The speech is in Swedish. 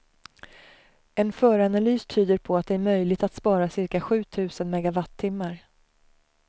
En föranalys tyder på att det är möjligt att spara cirka sju tusen megawattimmar.